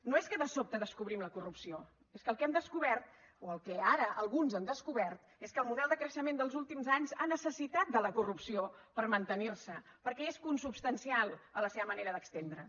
no és que de sobte descobrim la corrupció és que el que hem descobert o el que ara alguns han descobert és que el model de creixement dels últims anys ha necessitat la corrupció per mantenir se perquè és consubstancial a la seva manera d’estendre’s